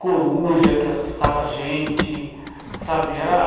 coruja que assustava a gente, sabe? Era